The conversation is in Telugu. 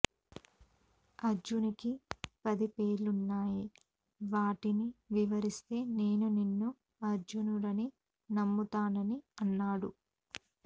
అర్జునికి పది పేర్లున్నాయి వాటిని వివరిస్తే నేను నిన్ను అర్జునుడని నమ్ముతానని అన్నాడు